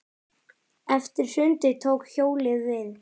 Eftir sundið tók hjólið við.